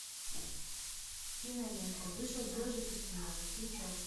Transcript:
кинолента вышел ежик из тумана включай